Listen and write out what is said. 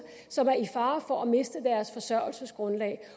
som er i fare for at miste deres forsørgelsesgrundlag